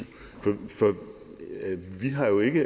vi har jo ikke